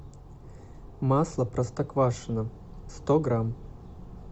масло простоквашино сто грамм